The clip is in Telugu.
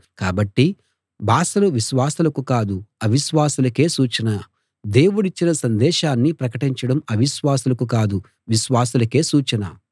కాబట్టి భాషలు విశ్వాసులకు కాదు అవిశ్వాసులకే సూచన దేవుడిచ్చిన సందేశాన్ని ప్రకటించడం అవిశ్వాసులకు కాదు విశ్వాసులకే సూచన